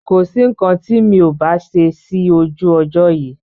Kosi nkan ti mi ò bá ṣe sí ojú ọjọ́ yìí